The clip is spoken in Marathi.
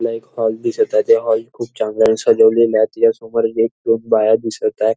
मला एक हॉल दिसतय ते हॉल खूप चांगल सजवलेलय त्याच्या समोर एक दोन बाया दिसत आहे.